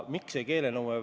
Selles ei ole üldse probleem.